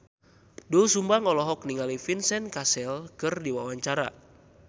Doel Sumbang olohok ningali Vincent Cassel keur diwawancara